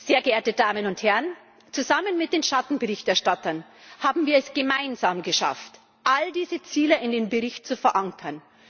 Sehr geehrte Damen und Herren, zusammen mit den Schattenberichterstattern haben wir es gemeinsam geschafft, all diese Ziele in dem Bericht zu verankern.